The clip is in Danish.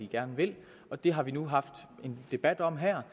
gerne vil og det har vi nu haft en debat om her